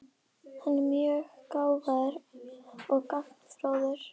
Hann er mjög gáfaður og gagnfróður.